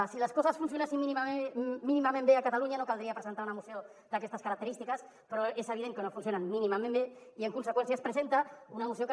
si les coses funcionessin mínimament bé a catalunya no cal·dria presentar una moció d’aquestes característiques però és evident que no funcionen mínimament bé i en conseqüència es presenta una moció que